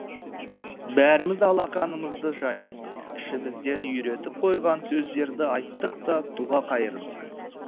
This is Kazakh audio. бәріміз алақанымызды жайдық ішімізден үйретіп қойған сөздерді айттық та дұға қайырдық